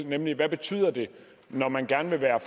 nemlig hvad betyder det når man gerne vil være